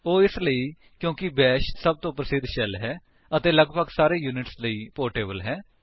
ਉਹ ਇਸਲਈ ਕਿਉਂਕਿ ਬੈਸ਼ ਸਭ ਤੋਂ ਪ੍ਰਸਿਧ ਸ਼ੈਲ ਹੈ ਅਤੇ ਲੱਗਭੱਗ ਸਾਰੇ ਯੂਨਿਕਸ ਲਈ ਪੋਰਟੇਬਲ ਹੈ